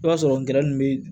I b'a sɔrɔ ngɔyɔ ninnu bɛ